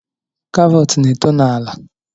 Karọt na-eto n’ala